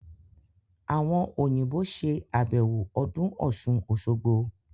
Àwọn Òyìnbó ṣe àbẹ̀wò ọdún Ọ̀ṣun-Òṣogbo